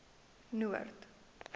noord